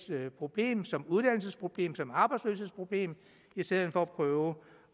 problem som et uddannelsesproblem som et arbejdsløshedsproblem i stedet for at prøve